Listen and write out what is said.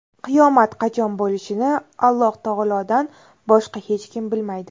Qiyomat qachon bo‘lishini Alloh taolodan boshqa hech kim bilmaydi.